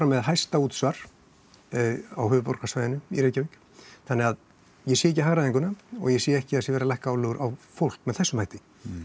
með hæsta útsvar á höfuðborgarsvæðinu í Reykjavík þannig að ég sé ekki hagræðinguna og ég sé ekki að það sé verið að lækka álögur á fólk með þessum hætti